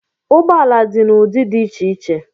Ụgbọala dị n'udị dị iche iche